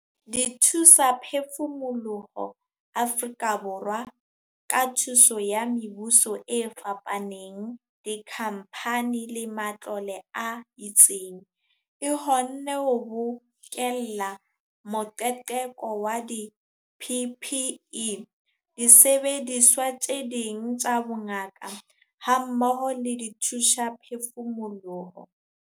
Dithusaphefumoloho Afrika Borwa, ka thuso ya mebuso e fapaneng, dikhamphane le matlole a itseng, e kgonne ho bokella moqeqeko wa di-PPE, disebediswa tse ding tsa bongaka hammoho le dithusaphefumoloho.